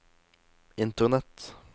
internett